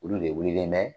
Olu de wililen bɛ